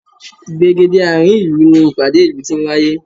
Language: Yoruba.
Ìgbègéde àárín ìlú ni ìpàdé ìlú ti ń wáyé